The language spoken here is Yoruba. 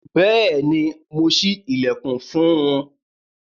Bẹẹni, Mo ṣi ilẹkun fún un